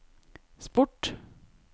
sport